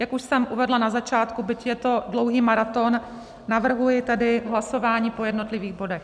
Jak už jsem uvedla na začátku, byť je to dlouhý maraton, navrhuji tedy hlasování po jednotlivých bodech.